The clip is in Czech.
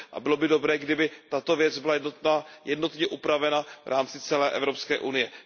Bylo by dobré, kdyby tato věc byla jednotně upravena v rámci celé Evropské unie.